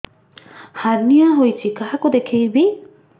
hernia ହୋଇଛି କାହାକୁ ଦେଖେଇବି